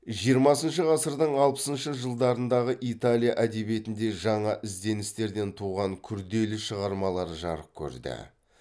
жиырмасыншы ғасырдың алпысыншы жылдарындағы италия әдебиетінде жаңа ізденістерден туған күрделі шығармалар жарық көрді